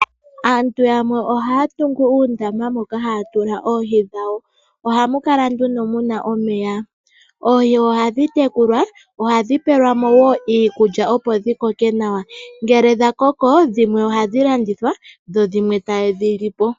Aantu yamwe ohaa tungu uundama moka haa tula oohi dhawo. Oha mu kala nduno mu na omeya. Oohi oha dhi tekulwa, oha dhi pelwa mo wo iikulya, opo dhi koke nawa. Ngele dha koko, dhimwe oha dhi landithwa, dho dhimwe ta ye dhi li po.